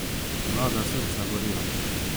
Mlada srca gorijo!